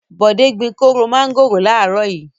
Bọ̀dé gbin kóró mángòrò láàárọ̀ yìí.